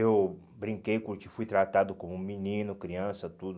Eu brinquei curti, fui tratado como menino, criança, tudo.